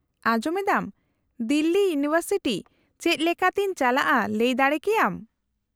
-ᱟᱸᱡᱚᱢ ᱮᱫᱟᱢ, ᱫᱤᱞᱞᱤ ᱤᱭᱩᱱᱤᱵᱷᱟᱨᱥᱤᱴᱤ ᱪᱮᱫ ᱞᱮᱠᱟᱛᱮᱧ ᱪᱟᱞᱟᱜᱼᱟ ᱞᱟᱹᱭ ᱫᱟᱲᱮ ᱠᱮᱭᱟᱢ ?